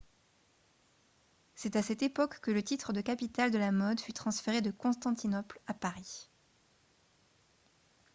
c'est à cette époque que le titre de capitale de la mode fut transféré de constantinople à paris